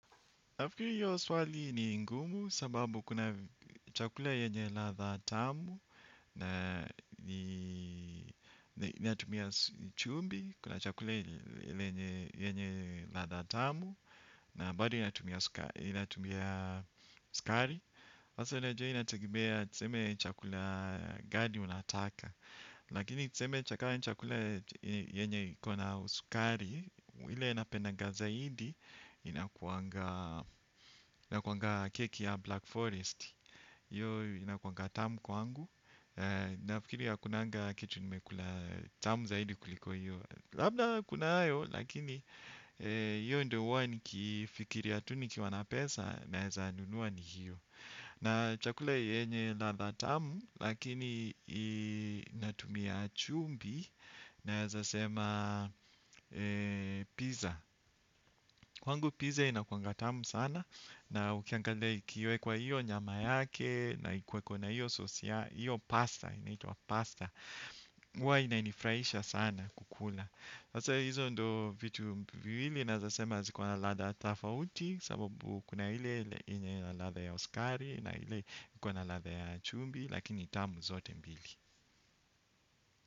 Nafikiri hiyo swali ni ngumu sababu kuna chakula yenye ladha tamu na inatumia chumvi, kuna chakula yenye ladha tamu na bado inatumia sukari sasa unajua inategemea tuseme chakula gani unataka. Lakini tuseme kama ni chakula yenye ikona sukari ile napendaga zaidi inakuanga keki ya black forest. Iyo inakuanga tamu kwangu. Nafikiri ya hakunanga kitu nimekula tamu zaidi kuliko hiyo. Labda kunayo lakini iyo ndo huwa nikifikiria tu nikiwa na pesa naeza nunua ni hiyo. Na chakula yenye ladha tamu, lakini inatumia chumvi naeza sema pizza. Kwangu pizza inakuanga tamu sana na ukiangalia ikiwekwa iyo nyama yake na ikuweko na iyo sossi, iyo pasta, inaitwa pasta. Huwa inanifurahisha sana kukula. Hizo ndo vitu viwili naeza sema zikona ladha tafauti sababu kuna ile ladha ya sukari na ile kuna ladha ya chumvi lakini tamu zote mbili.